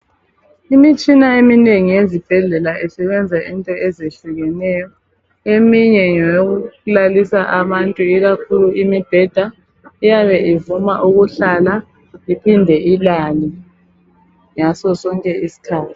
Imitshina eminengi ezibhedlela isebenza into ezihlukeneyo, eminye ngeyokulalisa abantu ikakhulu imibheda iyabe ivuma ukuhlala iphinde ilale ngaso sonke isikhathi.